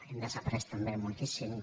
hem desaprès també moltíssim